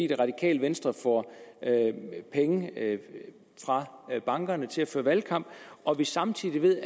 det radikale venstre får penge fra bankerne til at føre valgkamp og samtidig ved